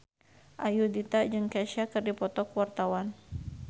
Ayudhita jeung Kesha keur dipoto ku wartawan